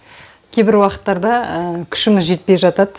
кейбір уақыттарда күшіміз жетпей жатады